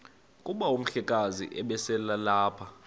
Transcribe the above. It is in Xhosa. kuba umhlekazi ubeselelapha